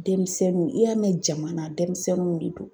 Denmisɛnninw i y'a mɛn jamana denmisɛnninw de do.